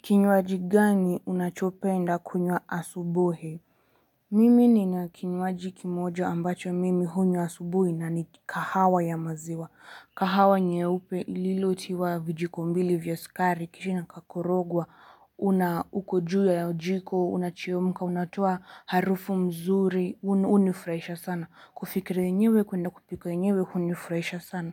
Kinywaji gani unachopenda kunywa asubuhi? Mimi ninakinywaji kimoja ambacho mimi hunywa asubuhi na ni kahawa ya maziwa. Kahawa nyeupe lilotiwa vijiko mbili vya sukari, kishi nakakorogwa, una uko juu ya jiko, unachemka, unatoa harufu mzuri, unifurahisha sana. Kufikiria yenyewe kuenda kupika yenyewe hunifurahisha sana.